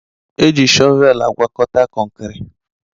Eji shọvelu agwakọta kọnkriti